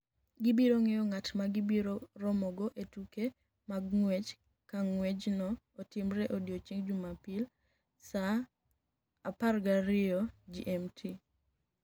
Gibiro ng’eyo ng’at ma gibiro romogo e tuke mag ng’wech ka ng’wechno otimre e odiechieng’ Jumapil saa 12:00 GMT.